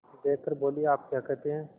देख कर बोलीआप क्या कहते हैं